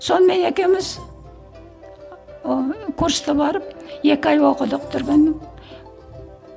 сонымен екеуміз ыыы курсты барып екі ай оқыдық түргеннің